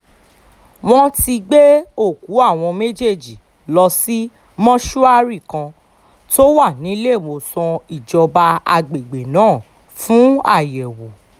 wọ́n ti gbé òkú àwọn méjèèjì lọ sí mọ́ṣúárì kan tó wà níléemọ̀sán ìjọba àgbègbè náà fún àyẹ̀wò